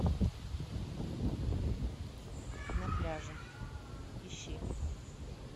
на пляже ищи